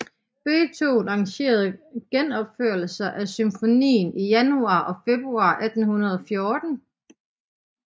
Beethoven arrangerede genopførelser af symfonien i januar og februar 1814